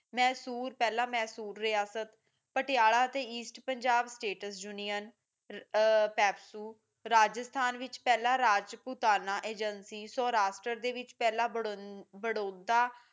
ਮੈਸੂਰ ਪਹਿਲਾ ਮੈਸੂਰ ਰਿਹਾਸਤ ਪਟਿਆਲਾ ਅਤੇ east Punjab state union PEPSU Rajasthan ਵਿਚ ਪਹਿਲਾਂ ਰਾਜਪੁਤਾਣਾ ਏਜੇਂਸੀ ਸੋ ਰਾਸ਼ਟਰ ਦੇ ਵਿੱਚ ਪਹਿਲਾਂ ਬੜੌਦਾ